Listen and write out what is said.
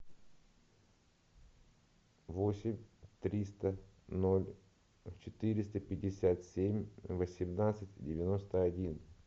восемь триста ноль четыреста пятьдесят семь восемнадцать девяносто один